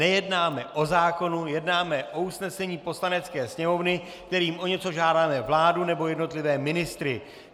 Nejednáme o zákonu, jednáme o usnesení Poslanecké sněmovny, kterým o něco žádáme vládu nebo jednotlivé ministry.